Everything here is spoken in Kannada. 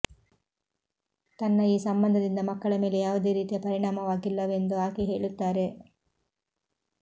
ತನ್ನ ಈ ಸಂಬಂಧದಿಂದ ಮಕ್ಕಳ ಮೇಲೆ ಯಾವುದೇ ರೀತಿಯ ಪರಿಣಾಮವಾಗಿಲ್ಲವೆಂದು ಆಕೆ ಹೇಳುತ್ತಾರೆ